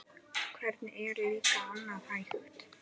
Hvernig er líka annað hægt?